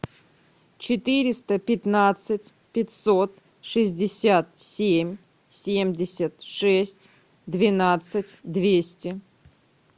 четыреста пятнадцать пятьсот шестьдесят семь семьдесят шесть двенадцать двести